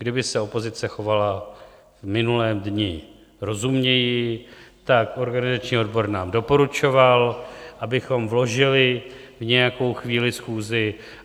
Kdyby se opozice chovala v minulém dni rozumněji, tak organizační odbor nám doporučoval, abychom vložili v nějakou chvíli schůzi.